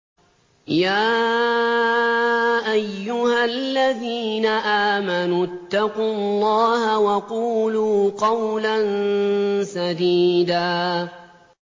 يَا أَيُّهَا الَّذِينَ آمَنُوا اتَّقُوا اللَّهَ وَقُولُوا قَوْلًا سَدِيدًا